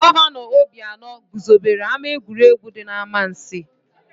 Gọvanọ Obianọ guzobere ama egwuregwu dị n'Amansiị.